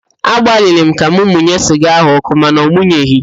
Agbalịrị m ka m munye siga ahụ ọkụ mana ọmụnyeghị